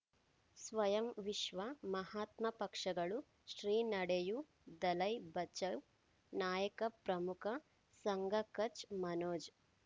ಸ್ವಯಂ ವಿಶ್ವ ಮಹಾತ್ಮ ಪಕ್ಷಗಳು ಶ್ರೀ ನಡೆಯೂ ದಲೈ ಬಚೌ ನಾಯಕ ಪ್ರಮುಖ ಸಂಘ ಕಚ್ ಮನೋಜ್